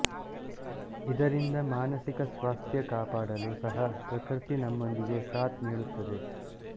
ಇದರಿಂದ ಮಾನಸಿಕ ಸ್ವಾಸ್ಥ್ಯ ಕಾಪಾಡಲು ಸಹ ಪೃಕೃತಿ ನಮ್ಮೊಂದಿಗೆ ಸಾಥ್ ನೀಡುತ್ತದೆ